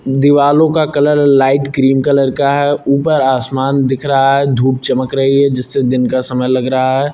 दीवालो का colour light cream colour का है ऊपर आसमान दिख रहा है धूप चमक रही है जिससे दिन का समय लग रहा है।